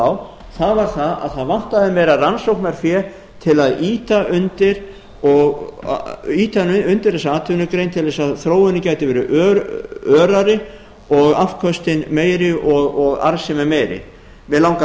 á það var það að það vantaði meira rannsóknarfé til að ýta undir þessa atvinnugrein til þess að þróunin gæti verið örari og afköstin meiri og arðsemin meiri mig langar